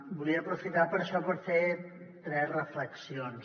volia aprofitar per això per fer tres reflexions